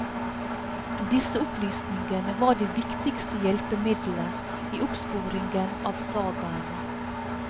Disse opplysningene var det viktigste hjelpemiddelet i oppsporingen av sagene.